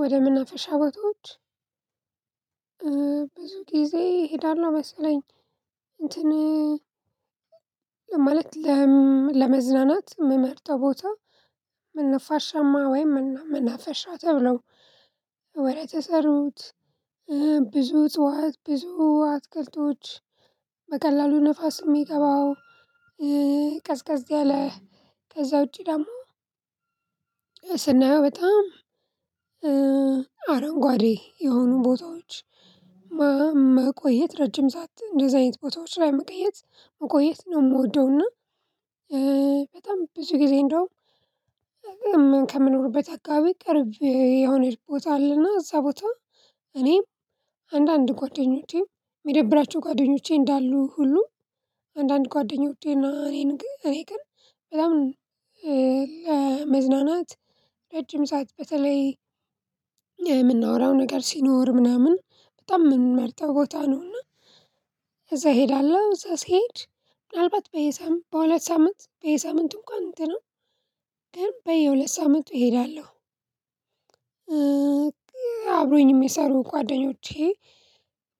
ወደ መናፈሻ ቦታዎች ብዙ ጊዜ እሄዳለሁ መሰለኝ። እንትን ማለት ለመዝናናት የምመርጠው ቦታ ምን ነፋሻማ ወይም መናፈሻ ተብለው። ወሬ ተሰሩት ብዙ እጽዋት ብዙ አትክልቶች በቀላሉ ንፋስ የሚገባው። ቀዝቀዝ ያለ ከዛ ውጪ ደግሞ ስናየው በጣም አረንጓዴ የሆኑ ቦታዎች መቆየት ረጅም ሰዓት እንደዚያ አይነት ቦታዎች ላይ መቀየት መቆየት ነው። የምወደውና በጣም ብዙ ጊዜ እንደውም ከምንኖርበት አካባቢ ቅርብ የሆነች ቦታ አለና እዛ ቦታ እኔም አንዳንድ ጓደኞቼም የሚደብራቸው ጓደኞቼ እንዳሉ ሁሉ አንዳንድ ጓደኞቼ እና እኔ ግን በጣም ለመዝናናት ረጅም ሰዓት በተለይ የምናወራው ነገር ሲኖር ምናምን በጣም የምንመርጠው ቦታ ነውና። እዛ እሄዳለሁ እዛ ስሄድ ምናልባት በየሳምንት በሁለት ሳምንት በየሳምንቱ እንኳን እንትንም ግን በየሁለት ሳምንቱ እሄዳለሁ። አብሮኝም ሚሰሩ ጓደኞቼ